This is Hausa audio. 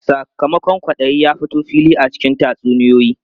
Sakamakon kwaɗayi ya fito fili a cikin tatsuniyoyi.